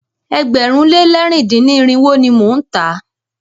Ẹgbẹ̀rún lé lẹ̀rin dín ní irinwó ni mo ń tà á.